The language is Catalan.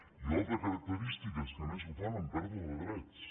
i l’altra característica és que a més ho fan amb pèrdua de drets